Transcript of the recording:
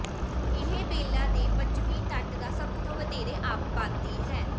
Ilhabela ਦੇ ਪੱਛਮੀ ਤੱਟ ਦਾ ਸਭ ਤੋਂ ਵਧੇਰੇ ਅਬਾਦੀ ਹੈ